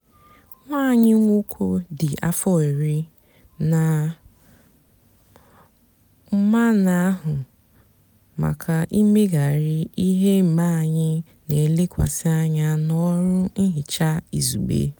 nwá ányị nwóké dị áfọ írí nà úmá nà-àhụ mákà ímegárí íhè mgbe ányị nà-èlekwasị ányá n'ọrụ nhicha izugbe.